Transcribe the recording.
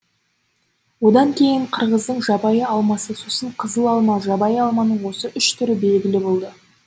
одан кейін қырғыздың жабайы алмасы сосын қызыл алма жабайы алманың осы үш түрі белгілі болды